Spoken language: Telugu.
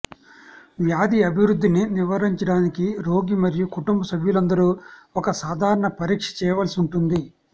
వ్యాధి అభివృద్ధిని నివారించడానికి రోగి మరియు కుటుంబ సభ్యులందరూ ఒక సాధారణ పరీక్ష చేయవలసి ఉంటుంది